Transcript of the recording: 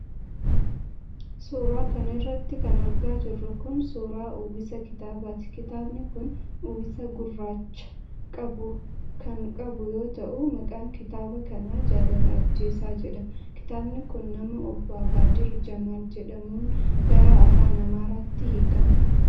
Suura kana irratti kan argaa jirru kun, suura uwwisa kitaabaati. Kitaabni kun uwwisa gurraacha qabu kan qabu yoo ta'u, maqaan kitaaba kanaa Jaalala Ajjeesaa jedhama. Kitaabni kun, nama obbo Abaadir Jamaal jedhamuun gara afaan Amaariffaatti hiikame.